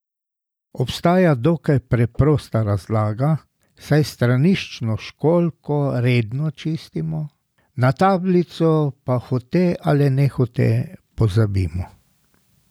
Obstaja dokaj preprosta razlaga, saj straniščno školjko redno čistimo, na tablico pa hote ali nehote pozabimo.